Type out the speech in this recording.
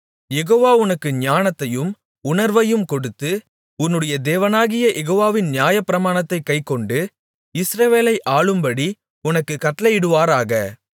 யெகோவா உனக்கு ஞானத்தையும் உணர்வையும் கொடுத்து உன்னுடைய தேவனாகிய யெகோவாவின் நியாயப்பிரமாணத்தைக் கைக்கொண்டு இஸ்ரவேலை ஆளும்படி உனக்குக் கட்டளையிடுவாராக